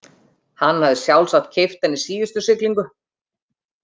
Hann hafði sjálfsagt keypt hann í síðustu siglingu.